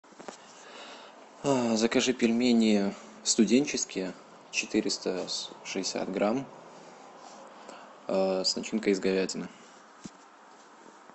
закажи пельмени студенческие четыреста шестьдесят грамм с начинкой из говядины